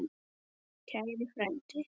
Kæri frændi.